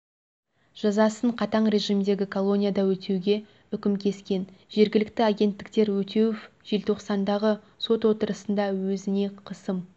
жазасын қатаң режимдегі колонияда өтеуге үкім кескен жергілікті агенттіктер өтеуов желтоқсандағы сот отырысында өзіне қысым